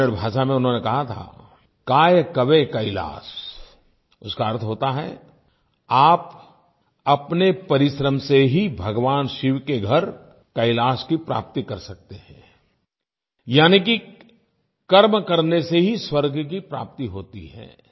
कन्नड़ भाषा में उन्होंने कहा था काय कवे कैलास उसका अर्थ होता है आप अपने परिश्रम से ही भगवान शिव के घर कैलाश की प्राप्ति कर सकते हैं यानि कि कर्म करने से ही स्वर्ग की प्राप्ति होती है